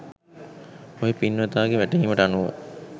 ඔය පින්වතාගේ වැටහීමට අනුව